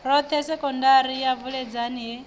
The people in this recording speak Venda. roṱhe sekondari ya vuledzani he